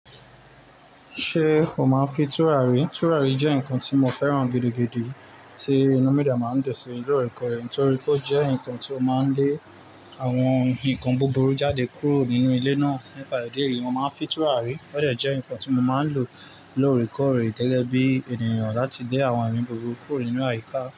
Ṣé o máa ń fi tùràrí? Tùràrí jẹ́ nǹkan tí mo fẹ́ràn gidi, gidi tí inú mí dé máa ń dùn sí lóòrèkóòrè. Nítorí pé ó jẹ́ nǹkan tí ó máa ń lé àwọn hun ìkan búburú jáde kúrò nínú ilé náà. Nípa idi eyìí, mo máa ń fi tùràrí. Ó dẹ̀ jẹ́ nǹkan tí mo máa ń lò lóòrèkóòrè gẹ́gẹ́ bí ènìyàn láti lé àwọn ẹ̀mí búburú kúrò nínú àyíká.